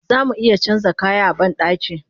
Zamu iya canja kaya a bandaki